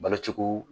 Balo cogo